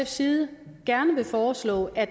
side gerne foreslå at